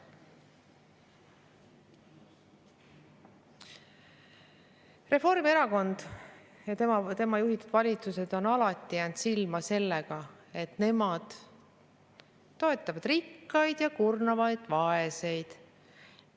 Reformierakond ja tema juhitud valitsused on alati jäänud silma sellega, et nad toetavad rikkaid ja kurnavad vaeseid.